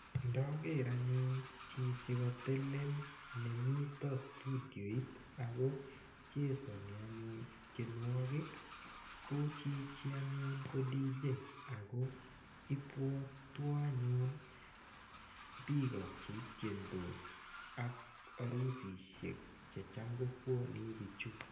Ndoger anyun chichi katelel nemito studioit ago chesani anyun tienwogik ko chichi anyun ko DJ ago ibwatwo anyun biiko che tiendos ak arusisiek che cham kobwone biichu.